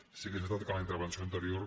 sí que és veritat que en la intervenció anterior